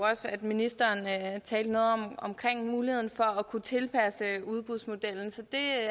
også at ministeren talte noget om muligheden af at kunne tilpasse udbudsmodellen så det